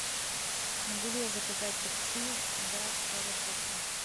могу ли я заказать такси до аэропорта